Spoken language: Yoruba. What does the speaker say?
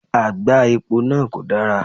Àgbá epo náà kò dara